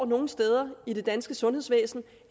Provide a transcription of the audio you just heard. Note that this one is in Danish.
nogle steder i det danske sundhedsvæsen